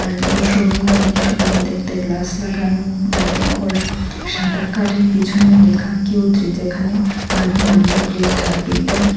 আর এই শোরুমটা অনেক সুন্দর দেখতে গ্লাস লাগানো লাইটিং করা সাদা কারের পিছনে লেখা কিউ থ্রি যেখানে গাড়ির নাম্বার প্লেট থাকবে এটা--